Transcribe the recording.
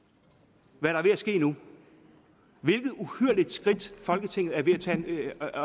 hvad der er ved at ske nu hvilket uhyrligt skridt folketinget er ved